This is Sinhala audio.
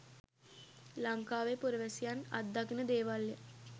ලංකාවේ පුරවැසියන් අත්දකින දේවල්ය.